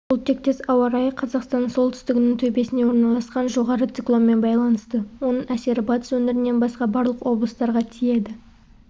бұл тектес ауа райы қазақстанның солтүстігінің төбесіне орналасқан жоғары циклонмен байланысты оның әсері батыс өңірінен басқа барлық облыстарға тиеді